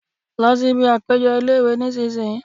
Lọ síbi àpéjọ ilé-ìwé nísìínyi